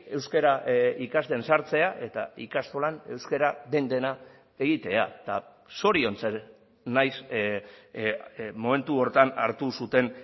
euskara ikasten sartzea eta ikastolan euskara den dena egitea eta zoriontzen naiz momentu horretan hartu zuten